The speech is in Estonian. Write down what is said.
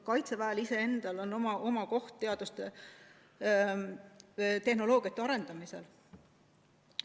Kaitseväel on oma koht teadustöös, tehnoloogiate arendamisel.